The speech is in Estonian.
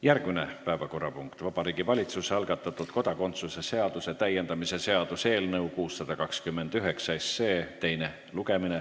Järgmine päevakorrapunkt: Vabariigi Valitsuse algatatud kodakondsuse seaduse täiendamise seaduse eelnõu 629 teine lugemine.